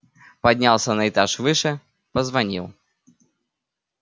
поднялся на этаж выше позвонил